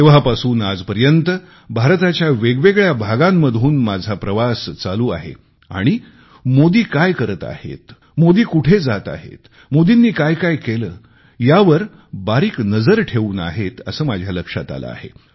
तेव्हापासून आजपर्यंत भारताच्या वेगवेगळ्या भागांतून माझा प्रवास चालू आहे आणि मोदी काय करत आहेत मोदी कुठे जात आहेत मोदींनी काय काय केले यावर बारीक नजर ठेवून आहेत असे माझ्या लक्षात आले आहे